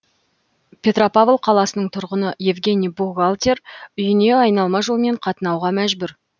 петропавл қаласының тұрғыны евгений бухгалтер үйіне айналма жолмен қатынауға мәжбүр